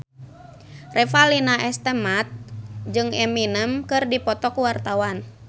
Revalina S. Temat jeung Eminem keur dipoto ku wartawan